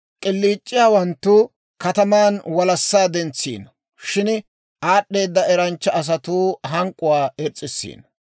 K'iliic'iyaawanttu kataman walassaa dentsiino; shin aad'd'eeda eranchcha asatuu hank'k'uwaa irs's'isiino.